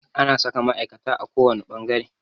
Ana saka ma'aikata a kowane fangare.